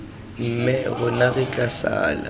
mme rona re tla sala